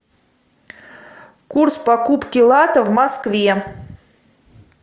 курс покупки лата в москве